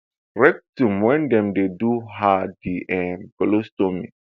rectum wen dem dey do her di um colostomy